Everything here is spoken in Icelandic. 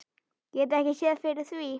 Get ekki séð fyrir því.